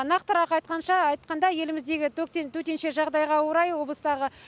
нақтырақ айтқанша айтқандай еліміздегі төтенше жағдайға орай облыстағы